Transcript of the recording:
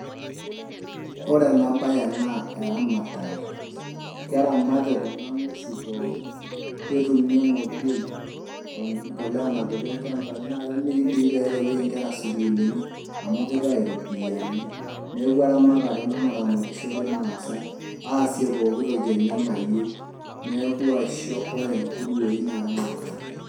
Ore ena baye naa eramatare, keramati kun ng'uesi pookin ketumi emdioi aa embolea napiki ilchambai nemiri doi peereyieki nkera sukuul amu kitayu iropiyiani, neeku eramare ena earamare ena naramatishore irmaasai aasie pooki toki enyenak nayieu neeku ore nguruei naa eramatare.